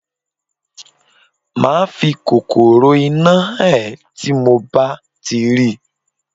Màá fi kòkòrò-iná hàn ẹ́ tí mo bá ti rí.